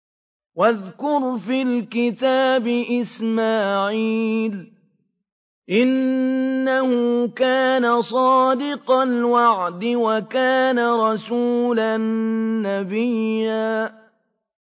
وَاذْكُرْ فِي الْكِتَابِ إِسْمَاعِيلَ ۚ إِنَّهُ كَانَ صَادِقَ الْوَعْدِ وَكَانَ رَسُولًا نَّبِيًّا